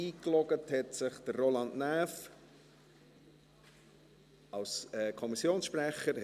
Bereits eingeloggt hat sich Roland Näf als Kommissionssprecher.